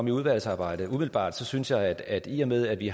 i udvalgsarbejdet umiddelbart synes jeg at i og med at vi